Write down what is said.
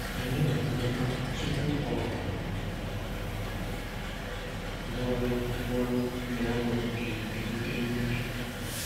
Anyị na-amata tupu ọ bụrụ bụrụ na ọnọdụ ga-ebute mmejọ.